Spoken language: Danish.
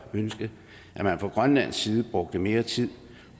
ønske at man fra grønlandsk side brugte mere tid